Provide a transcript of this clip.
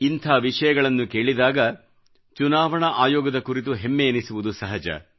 ಇಂಥ ವಿಷಯಗಳನ್ನು ಕೇಳಿದಾಗ ಚುನಾವಣಾ ಆಯೋಗದ ಕುರಿತು ಹೆಮ್ಮೆಯೆನಿಸುವುದು ಸಹಜ